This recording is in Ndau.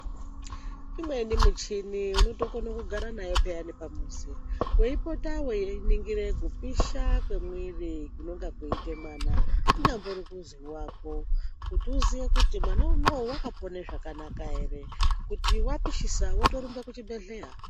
Imweni michini unotokone kugara nayo peyani pamuzi weipota weiningire kupisha kwemuiri kunonga kweiite mwana kunyangori kuzi wako, kuti uziye kuti mwana unowu wakapone zvakanaka ere. kuti wapishisa wotorumbe kuchibhedhlera.